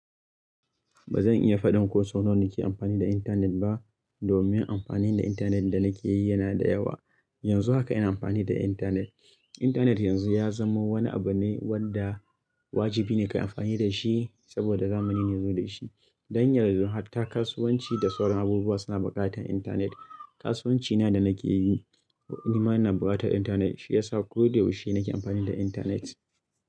Ba zan iya faɗin ko sau nawa nake amfani da intanet ba domin amfanin da intanet da nake yi yana da yawa. Yanzu haka ina amfani da intanet. Intanet yanzu ya zamo wani abu ne wanda wajibi ne ka yi amfani da shi saboda zamani ne yazo da shi. Don yarzo hatta kasuwanci da sauran abubuwa suna buƙatar intanet. Kasuwanci na da nake yi, nima ina buƙatar intanet. Shi ya sa ko da ya yaushe nake amfani da intanet.